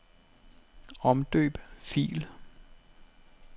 Omdøb fil.